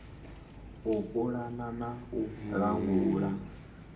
u pulana na u langula